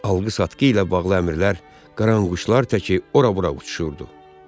Alqı-satqı ilə bağlı əmrlər qaranquşlar təki ora-bura uçuşurdu.